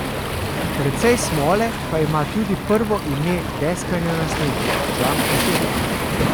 Precej smole pa ima tudi prvo ime deskanja na snegu, Žan Košir.